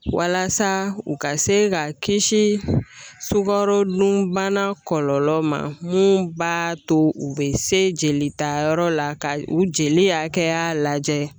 Walasa u ka se ka kisi sukoro dunbana kɔlɔlɔ ma minnu b'a to u bɛ se jelita yɔrɔ la ka u jeli hakɛya lajɛ